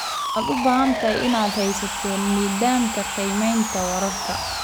Waxaad u baahan tahay inaad haysato nidaamka qiimaynta waraabka.